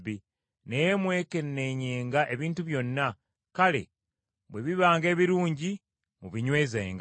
naye mwekenneenyenga ebintu byonna, kale bwe bibanga ebirungi mubinywezenga.